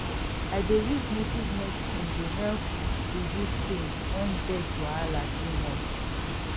i dey use native medicine to help reduce pain when birth wahala too much